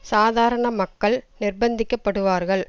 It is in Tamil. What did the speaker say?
சாதாரண மக்கள் நிர்பந்திக்க படுவார்கள்